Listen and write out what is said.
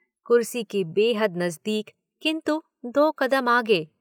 कुर्सी के बेहद नज़दीक किन्तु दो कदम आगे।